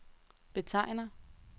betegner